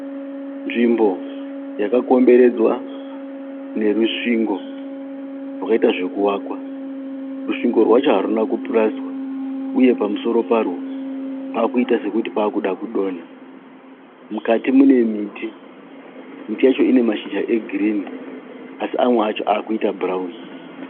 Nzvimbo yakakomberedzwa nerusvingo rakaita zvekuvakwa. Rusvingo rwacho haruna kupurasitiwa uye pamusoro parwo pakuita sekuti paakuda kudonha. Mukati mune miti. Miti yacho ine mashizha e girinhi asi amwe acho akuita bhurauni.